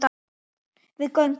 Við göngum